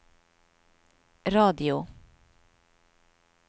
radio